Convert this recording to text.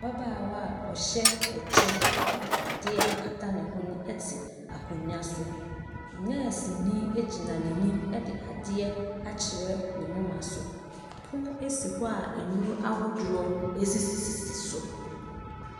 Ababaawa a ɔhyɛ ɛkyɛ de adeɛ akata ne hwene te akonnwa so. Nɛɛseni gyina n'anim de adeɛ akyerɛ ne moma so. Pono si hɔ a nnuro ahodoɔ sisisisi so.